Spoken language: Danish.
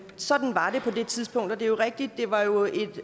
sådan var det på det tidspunkt og det er jo rigtigt